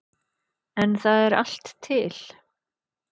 En það er allt til.